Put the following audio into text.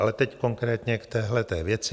Ale teď konkrétně k téhleté věci.